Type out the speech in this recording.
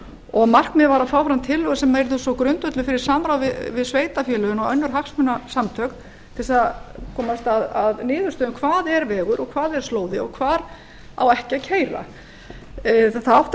og markmiðið var að fá fram tillögu sem yrði svo grundvöllur fyrir samráði við sveitarfélögin og önnur hagsmunasamtök til að komast að niðurstöðu um hvað er vegur og hvað er slóði og hvar á ekki að keyra það átti